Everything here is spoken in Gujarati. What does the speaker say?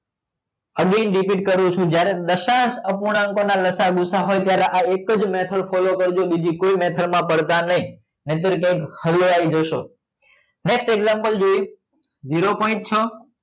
repeat કરું છું જ્યારે લસા ડસંગ અપૂર્ણાંક પરનાલસા ભુસા હોય ત્યારે આ એક જ method follow કરજો બીજી કોઈ method માં પડતા નહીં નહીં તો કંઈક હલવાઈ જશો next example જોઈ zero point છ